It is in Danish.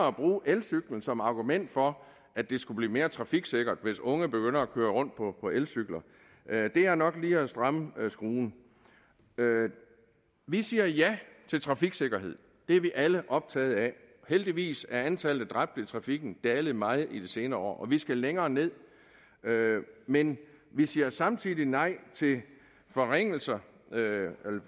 at bruge elcyklen som argument for at det skulle blive mere trafiksikkert hvis unge begynder at køre rundt på elcykler er nok lige at stramme skruen vi siger ja til trafiksikkerhed det er vi alle optaget af og heldigvis er antallet af dræbte i trafikken dalet meget i de senere år og vi skal længere ned men vi siger samtidig nej til forringelser